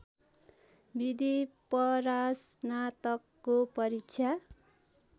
विधि परास्नातकको परीक्षा